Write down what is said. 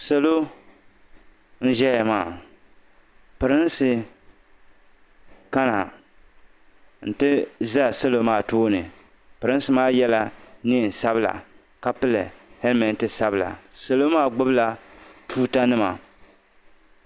Salo n-ʒeya maa pirinsi kana n-ti za salo maa tooni pirinsi maa yela neein'sabila ka pili "helmet" sabila salo maa gbubila chuutanima.